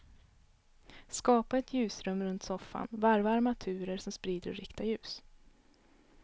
Skapa ett ljusrum runt soffan, varva armaturer som sprider och riktar ljus.